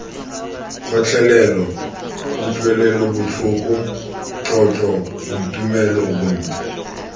kgotlelelo kutlwelobotlhoko tlotlo boitumelo bontle